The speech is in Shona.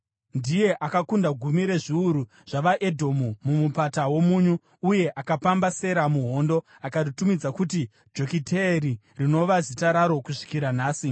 Ndiye akakunda gumi rezviuru zvavaEdhomu muMupata woMunyu uye akapamba Sera muhondo, akaritumidza kuti Jokiteeri, rinova zita raro kusvikira nhasi.